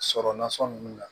Sɔrɔ nasɔn nun na